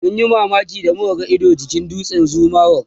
mun ji mamaki da muka ga Ido jikin tsaunin Zuma rock